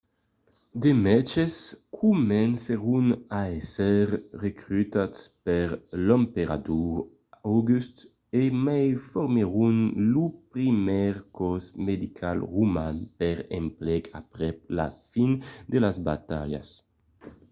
de mètges comencèron a èsser recrutats per l'emperador august e mai formèron lo primièr còs medical roman per emplec aprèp la fin de las batalhas